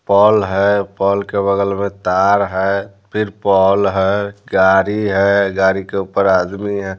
Paul है pole के बगल में तार है फिर पॉल है गाड़ी है गाड़ी के ऊपर आदमी है।